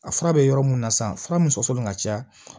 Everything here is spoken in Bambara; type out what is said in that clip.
A fura bɛ yɔrɔ mun na san fura min sɔsɔlen ka ca